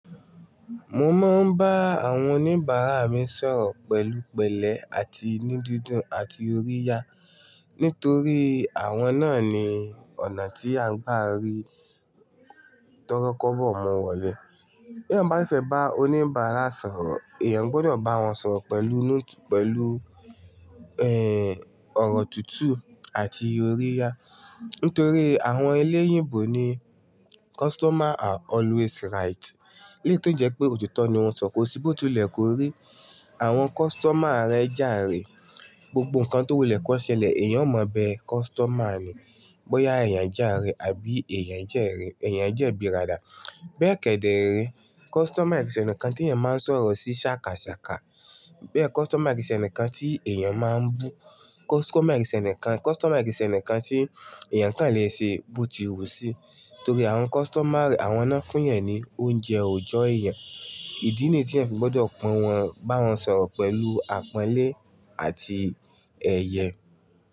Mo máa ń bá àwọn oníbàárà mi sọ̀rọ̀ pẹ̀lú pẹ̀lẹ́ àti ni dídùn àti òríyá. Nítorí àwọn náà ni ọ̀nà tí a ń gbà ri torokobo mu wọ̀lẹ́. Bí èèyàn bá si fẹ́ bá oníbàárà sọ̀rọ̀, èèyàn gbudọ̀ bá wọn sọ̀rọ̀ pẹ̀lú, pẹ̀lú, ẹ́, ọ̀rọ̀ tutù àti òríyá. Nítorí àwọn eléyìnbò ní "Customer are always right". Eléyi tó si jẹ́ pé òtítọ́ ni wọ́n sọ̀, ko ṣí bó ti wulẹ̀ kó rí. Àwọn customer rẹ jàrẹ, gbogbo nǹkan tó wù lẹ́ kọ̀ ṣẹlẹ̀, èèyàn ò mọ̀ bẹ customer ni. Bóyá èèyàn jàrẹ àbí èèyàn jẹ́rẹ, èèyàn jẹ́bi ràdà. Bẹ́ẹ̀ kẹ́dẹ̀ rẹ́, customer e kin ṣe ẹnìkan tí èèyàn máa ń sọ̀rọ̀ sí ṣàkàṣàkà. Bẹ́ẹ̀ customer e kin ṣe ẹnìkan tí èèyàn máa ń bú. Customer e ṣe ẹnìkan, customer e kìí ṣe ẹnìkan tí èèyàn kàn lè ṣe bó ti wù sí. Torí àwọn customer, àwọn náà n fún èèyàn ni oúnjẹ òòjọ́ èèyàn. Ìdí niyiì tí ẹ̀eyan fi gbọdọ̀ pọ̀n wọn, bá wọn sọ̀rọ̀ pẹ̀lú àpọ́nlé àti ẹyẹ.